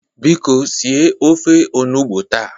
Biko sie ofe onugbo taa!